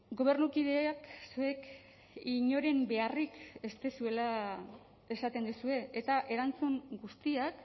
gobernukideek zuek inoren beharrik ez duzuela esaten duzue eta erantzun guztiak